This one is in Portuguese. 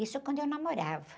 Isso quando eu namorava.